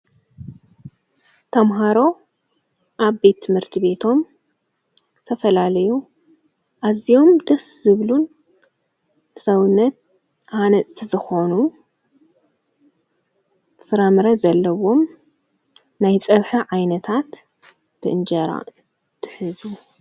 ተምሃሮ ኣብ ቤት ትምህርቲ ቤቶም ዝተፈላለዩ ኣዚዮም ደስ ዝብሉን ሰውነት ሓነፅቲ ዝኾኑ ፍራምረ ዘለዎም ናይ ጸብሐ ዓይነታት ብእንጀራ ይሕዙ፡፡